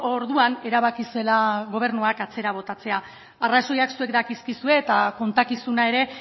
orduan erabaki zela gobernuak atzera botatzea arrazoiak zuek dakizkizue eta kontakizuna ere